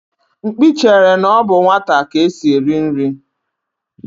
Mkpi chere na ọ bụ nwata ka esi eri nri.